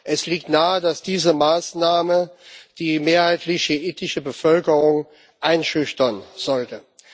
Es liegt nahe, dass diese Maßnahme die mehrheitlich schiitische Bevölkerung einschüchtern sollte.